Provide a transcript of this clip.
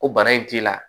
Ko bana in t'i la